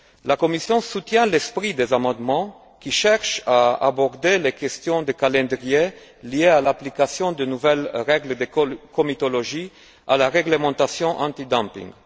La Commission soutient l'esprit des amendements qui cherchent à aborder les questions de calendrier liées à l'application de nouvelles règles de comitologie à la réglementation anti dumping